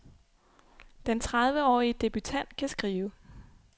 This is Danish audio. Den trediveårige debutant kan skrive.